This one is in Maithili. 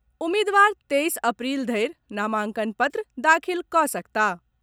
उम्मीदवार तेईस अप्रील धरि नामांकन पत्र दाखिल कऽ सकताह।